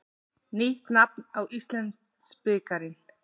Nýtt nafn á Íslandsbikarinn.